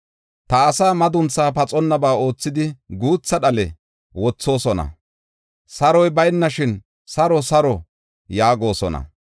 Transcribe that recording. Ta asaa maduntha pathonnaba oothidi guutha dhale wothoosona. Saroy baynashin, ‘Saro; saro!’ yaagosona.